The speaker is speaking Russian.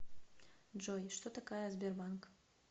джой что такая сбербанк